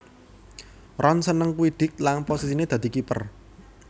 Ron seneng Quidditch lan posisiné dadi kiper